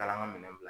Kala ka minɛn